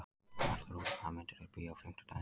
Bjarnþrúður, hvaða myndir eru í bíó á fimmtudaginn?